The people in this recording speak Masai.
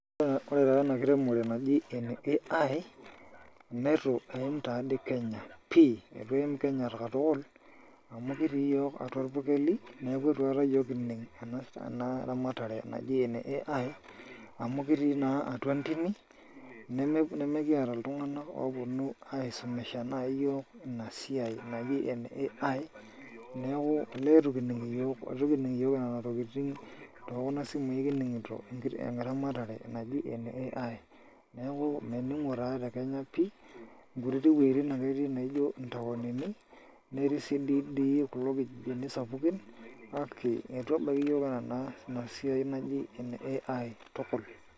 Ore taa ena kiremore naji ene AI naa itu eim taa dii Kenya pii eitu eim Kenya katukul amu kitii iyiook atua irpurkeli neeku itu aikata iyiook kining' ena ramatare naji ene AI amu kitii naa atua ntimi nemekiata iltung'anak ooponu aisumisha naai iyiook ina siai naji ene AI, neeku olee itu kining' iyiook itu kining' iyiook nena tokitin te kuna simui ake kining'ito eramatare naji ene AI, neeku mening'o taa Kenya pii nkutittik wuejitin ake etii naijio ntaoni netii sii dii kulo kijijini sapukin kake itu ebaiki iyiook ina siai naji ene AI tukul .